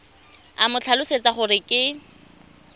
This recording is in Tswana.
o mo tlhalosetse gore ke